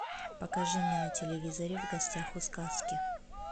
покажи мне на телевизоре в гостях у сказки